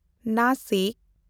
Nashik